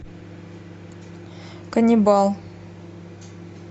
каннибал